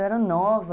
Eu era nova.